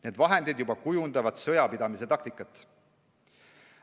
Need vahendid juba kujundavad sõjapidamise taktikat.